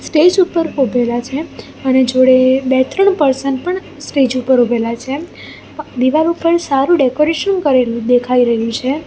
Stage ઉપર ઉભેલા છે અને જોડે બે ત્રણ પર્સન પણ સ્ટેજ ઉપર ઉભેલા છે પ દીવાલ ઉપર સારું ડેકોરેશન કરેલું દેખાઈ રહ્યું છે.